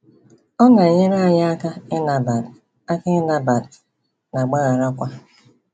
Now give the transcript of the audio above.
Ọ na-enyere anyị aka ịnabat aka ịnabat na agbagharakwa.